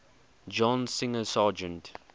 john singer sargent